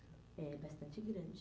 É, bastante grande.